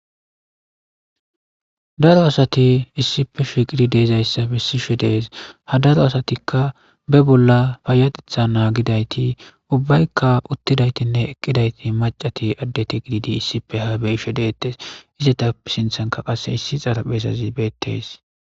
Daro asati issippe shiiqidi de7izayssa bessishe dees. Hadaro asatikka be bolla payyatetha naagidayti ubbayka uttidaytinne eqqidayti maccatinne addetiissippe haa be7ishe deettes.